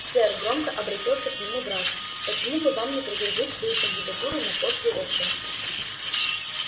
сэр громко обратился к нему драко почему бы вам не предложить свою кандидатуру на пост директора